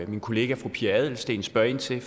min kollega fru pia adelsteen spørger ind til